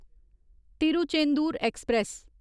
Tiruchendur express